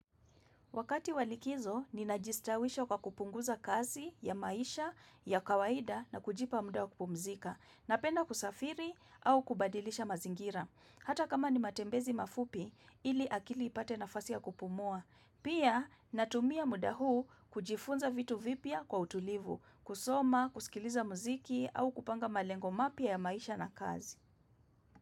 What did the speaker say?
Wakati wa likizo, ninajistawisha kwa kupunguza kazi ya maisha, ya kawaida na kujipa muda wa kupumzika. Napenda kusafiri au kubadilisha mazingira. Hata kama ni matembezi mafupi, ili akili ipate nafasi ya kupumua. Pia, natumia muda huu kujifunza vitu vipya kwa utulivu, kusoma, kusikiliza muziki au kupanga malengo mapya ya maisha na kazi.